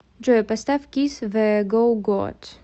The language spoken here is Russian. джой поставь кисс зе гоу гоат